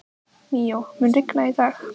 Míó, mun rigna í dag?